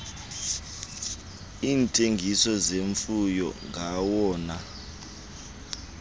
iintengiso zemfuyo ngawona